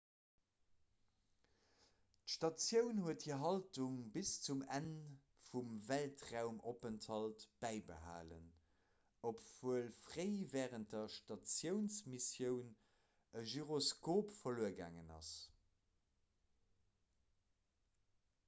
d'statioun huet hir haltung bis zum enn vum weltraumopenthalt bäibehalen obwuel fréi wärend der statiounsmissioun e gyroskop verluer gaangen ass